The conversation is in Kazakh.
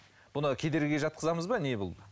бұны кедергіге жатқызамыз ба не бұл